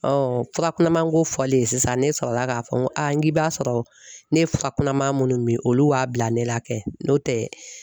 fura kunamanko fɔlen sisan ne sɔrɔla k'a fɔ n ko a n k'i b'a sɔrɔ ne ye fura kunaman munnu min olu wa bila ne la kɛ n'o tɛ